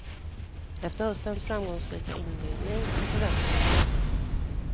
Efter höstens framgångsrika inledning är förväntningarna höga.